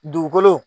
Dugukolo